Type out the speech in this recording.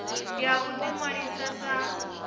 ya u ḓi ṅwalisa sa